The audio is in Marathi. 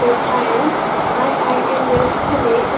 हे सायन्स आय_आय_एम_एस पुणे असं --